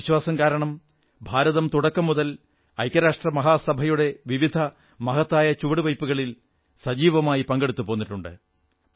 ഈ വിശ്വാസം കാരണം ഭാരതം തുടക്കം മുതൽ ഐക്യരാഷ്ട്ര സഭയുടെ വിവിധ മഹത്തായ ചുവടുവയ്പ്പുകളിൽ സജീവമായി പങ്കെടുത്തുപോന്നിട്ടുണ്ട്